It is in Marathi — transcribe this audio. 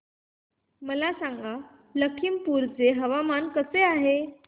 मला सांगा लखीमपुर चे हवामान कसे आहे